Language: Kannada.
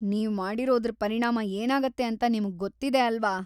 ನೀವ್ ಮಾಡಿರೋದ್ರ್ ಪರಿಣಾಮ ಏನಾಗತ್ತೆ ಅಂತ ನಿಮ್ಗ್‌ ಗೊತ್ತಿದೆ ಅಲ್ವಾ?